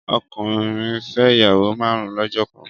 Ọkùnrin fẹ́ ìyàwó márùn lọ́jọ́ kan